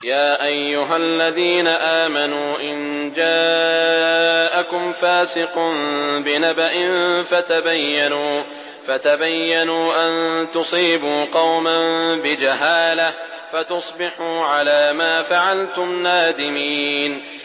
يَا أَيُّهَا الَّذِينَ آمَنُوا إِن جَاءَكُمْ فَاسِقٌ بِنَبَإٍ فَتَبَيَّنُوا أَن تُصِيبُوا قَوْمًا بِجَهَالَةٍ فَتُصْبِحُوا عَلَىٰ مَا فَعَلْتُمْ نَادِمِينَ